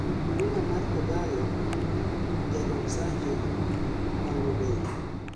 winga mar kogalo jadon sango opango dong'